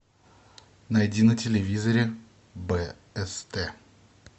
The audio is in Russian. найди на телевизоре бст